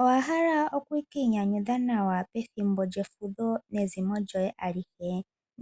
Owahala okukiinyanyudha nawa pethimbo lyefudho nezimo lyoye alihe